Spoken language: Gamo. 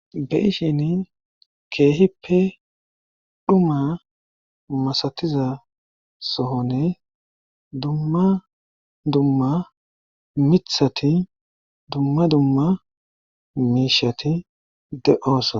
Be'ishin keehippe dhuma masatiza soonne dumma dumma mithati dumma dumma mii'hati de/oosoa